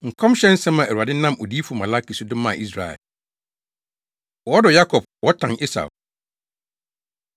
Nkɔmhyɛ nsɛm a Awurade nam Odiyifo Malaki so de maa Israel. Wɔdɔ Yakob, Wɔtan Esau